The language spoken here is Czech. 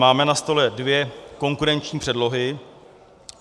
Máme na stole dvě konkurenční předlohy.